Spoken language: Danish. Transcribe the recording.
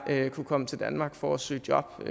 kunne komme til danmark for at søge job